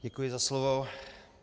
Děkuji za slovo.